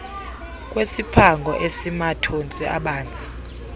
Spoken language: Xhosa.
kwesiphango esimathontsi abanzi